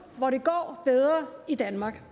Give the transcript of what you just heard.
hvor det går bedre i danmark